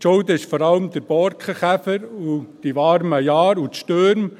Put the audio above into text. Schuld sind vor allem der Borkenkäfer, die warmen Jahre und die Stürme.